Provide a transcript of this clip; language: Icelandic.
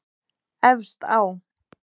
Efst á